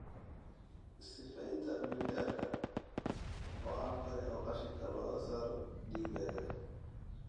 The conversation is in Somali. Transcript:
Sifeynta mindhicirka waa hab kale oo qashinka looga saaro dhiiggaaga.